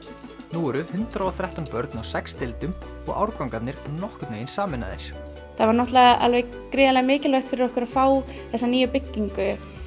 nú eru hundrað og þrettán börn á sex deildum og árgangarnir nokkurn veginn sameinaðir það var gríðarlega mikilvægt fyrir okkur að fá þessa nýju byggingu